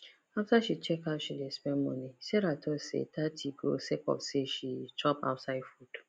after she check how she dey spend money sarah talk say thirty go sake of say she chop ouside food